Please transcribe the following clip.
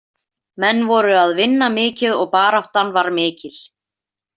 Menn voru að vinna mikið og baráttan var mikil.